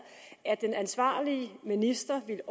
at den ansvarlige minister vil